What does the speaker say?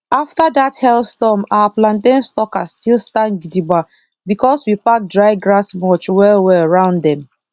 after that hailstorm our plantain sucker still stand gidigba because we pack dry grass mulch well well round dem